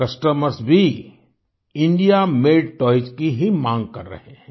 Customers भीIndia made toys की ही माँग कर रहे हैं